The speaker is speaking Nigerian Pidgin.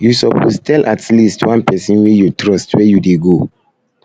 you suppose tell at least one pesin wey you trust where you dey go